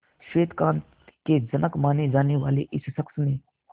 श्वेत क्रांति के जनक माने जाने वाले इस शख्स ने